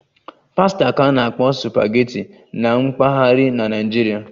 "Pasta ka na-akpọ "supageti"na mpaghara na Naịjirịa